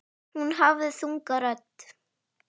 Hún hafði þunga rödd.